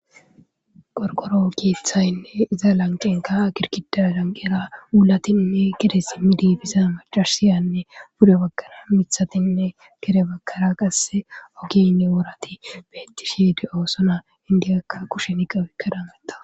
Qorkoro kiethaynne iza lancenka kirkida danqera ulatinne kere simmi diibisa macarsiyanne bude bagkara mithatinne kere bagkara qasse ogiynne worati beettishede oosona indiyakka kushen iqawikka dameta